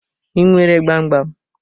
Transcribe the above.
I nwere gbam gbam.